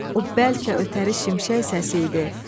O bəlkə ötəri şimşək səsi idi.